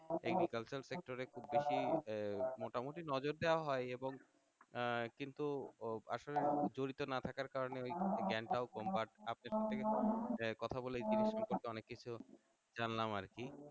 agriculture sector এ খুব বেশি মোটামুটি নজর দেওয়া হয় এবং আহ কিন্তু আসলে জড়িত না থাকার কারণে ঐ জ্ঞানটাও কম but আপনার সাথে কথা বলে জিনিস গুলোর অনেক কিছু জানলাম আরকি